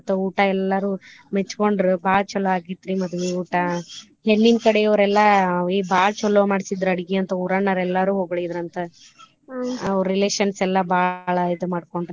ಮತ್ತ್ ಊಟಾ ಎಲ್ಲಾರು ಮೆಚ್ಕೊಂಡ್ರು ಬಾಳ್ ಚೊಲೊ ಆಗಿತ್ರೀ ಮದ್ವಿ ಊಟಾ ಹೆಣ್ಣಿನ ಕಡೆಯವ್ರ ಎಲ್ಲಾ ಏ ಬಾಳ್ ಚೊಲೊ ಮಾಡ್ಸಿದ್ರ ಅಡ್ಗಿ ಅಂತ ಊರಾನವ್ರ ಎಲ್ಲಾ ಹೊಗಳಿದ್ರಂತ ಅವ್ರ relations ಎಲ್ಲಾ ಬಾಳ ಇದ್ನ ಮಾಡಕೊಂಡ್ರ.